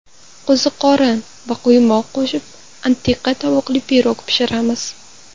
Qo‘ziqorin va quymoq qo‘shib antiqa tovuqli pirog pishiramiz.